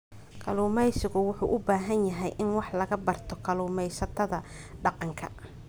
Kalluumaysigu wuxuu u baahan yahay in wax laga barto kalluumaysatada dhaqanka.